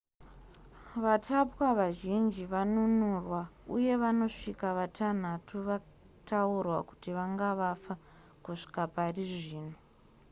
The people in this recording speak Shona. vatapwa vazhinji vanunurwa uye vanosvika vatanhatu vataurwa kuti vanga vafa kusvika parizvino